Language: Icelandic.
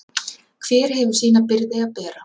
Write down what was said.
Hver hefur sína byrði að bera.